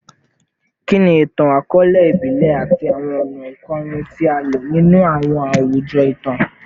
Kini itan-akọọlẹ ibile ati awọn ọna ikorin ti a lo ninu awọn awujọ itan?